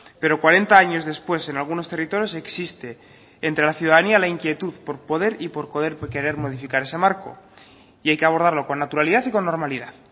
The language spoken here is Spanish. pero cuarenta años después en algunos territorios existe entre la ciudadanía la inquietud por poder y por poder querer modificar ese marco y hay que abordarlo con naturalidad y con normalidad